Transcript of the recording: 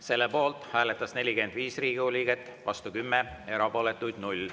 Selle poolt hääletas 45 Riigikogu liiget, vastu 10, erapooletuid 0.